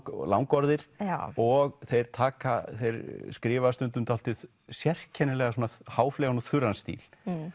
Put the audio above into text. langorðir og þeir þeir skrifa stundum dálítið sérkennilega háfleygan og þurran stíl